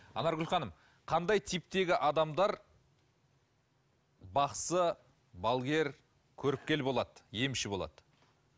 анаргүл ханым қандай типтегі адамдар бақсы балгер көріпкел болады емші болады